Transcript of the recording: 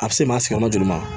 A bɛ se maa si ka ma joli ma